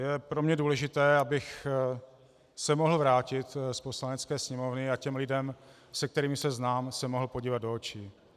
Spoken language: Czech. Je pro mě důležité, abych se mohl vrátit z Poslanecké sněmovny a těm lidem, se kterými se znám, se mohl podívat do očí.